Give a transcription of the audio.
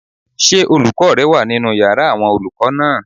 Ṣé olùkọ́ rẹ wà nínu yàrá àwọn olùkọ́ náà?